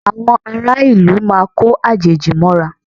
Àwọn ará ìlú máa ko àjèjì mọ́ra